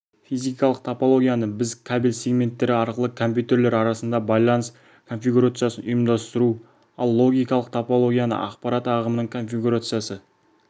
физикалық топологияны біз кабель сегменттері арқылы компьютерлер арасында байланыс конфигурациясын ұйымдастыру ал логикалық топологияны ақпарат ағымының конфигурациясы